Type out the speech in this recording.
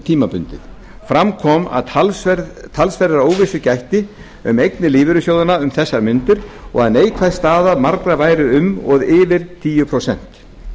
tímabundið í stað tíu prósent vikmarka núna fram kom að talsverðrar óvissu gætti um eignir lífeyrissjóðanna um þessar mundir og að neikvæð staða margra væri um og yfir tíu prósent